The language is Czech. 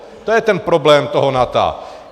To je ten problém toho NATO.